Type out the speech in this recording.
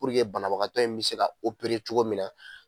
banabagatɔ in bɛ se ka cogo min na.